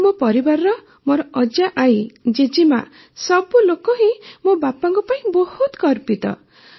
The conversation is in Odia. ଆଉ ମୋ ପରିବାରର ମୋର ଅଜାଆଈ ଜେଜେମାଆ ସବୁଲୋକ ହିଁ ମୋ ବାପାଙ୍କ ପାଇଁ ବହୁତ ଗର୍ବିତ